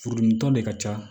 Furudimitɔ de ka ca